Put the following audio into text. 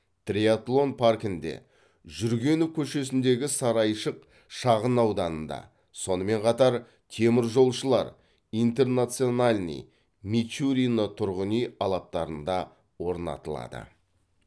триатлон паркінде жүргенов көшесіндегі сарайшық шағын ауданында сонымен қатар теміржолшылар интернациональный мичурино тұрғын үй алаптарында орнатылады